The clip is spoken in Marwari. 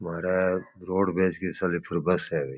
मारे रोडवेज की सिलिपर बस है भाई।